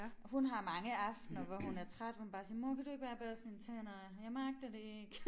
Hun har mange aftener hvor hun er træt hvor hun bare siger mor kan du ikke bare børste mine tænder jeg magter det ikke